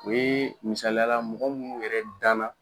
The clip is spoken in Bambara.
U ye misaliyala mɔgɔ minnu yɛrɛ danna